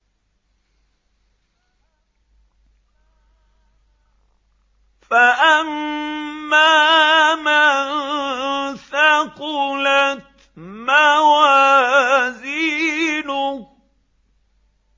فَأَمَّا مَن ثَقُلَتْ مَوَازِينُهُ